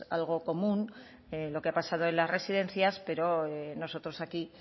algo común lo que ha pasado en las residencias pero nosotros aquí